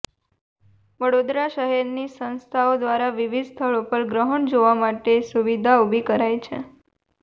વડોદરા શહેરની સંસ્થાઓ દ્વારા વિવિધ સ્થળો પર ગ્રહણ જોવા માટે સુવિધા ઉભી કરાઈ છે